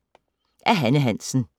Af Hanne Hansen